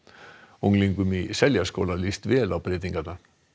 unglingum í Seljaskóla líst vel á breytingar